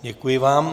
Děkuji vám.